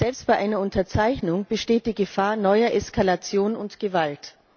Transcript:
Selbst bei einer Unterzeichnung besteht die Gefahr neuer Eskalation und Gewalt.